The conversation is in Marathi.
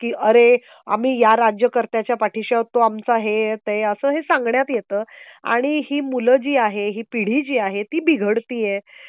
की अरे आम्ही या राज्यकर्त्याच्या पाठीशी आहोत. तो आमचा हे आहे ते आहे. असंही सांगण्यात येतं ,आणि ही मुल जी आहेत. ही पिढी जी आहे ती बिघडती आहेत